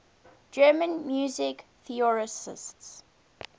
german music theorists